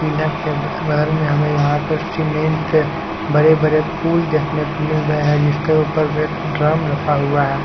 Pillar के बगल में हमें यहां पर सीमेंट बड़े बड़े पूल देखने को मिल रहे हैं जिसके ऊपर एक ड्रम रखा हुआ है।